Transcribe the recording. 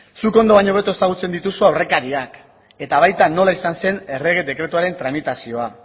zuk ondo baino hobeto ezagutzen dituzu aurrekariak eta baita nola izan zen errege dekretuaren tramitazioa